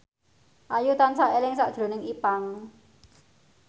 Ayu tansah eling sakjroning Ipank